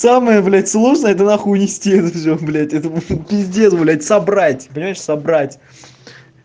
самое блядь сложно это нахуй унести всё блядь это пиздец блядь собрать собрать